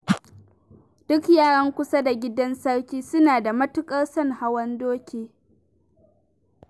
Duk yaran kusa da gidan sarki suna da matuƙar son hawan doki.